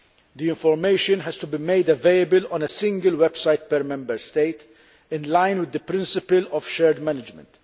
The information has to be made available on a single website in each Member State, in line with the principle of shared management.